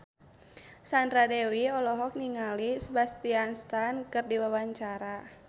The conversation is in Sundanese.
Sandra Dewi olohok ningali Sebastian Stan keur diwawancara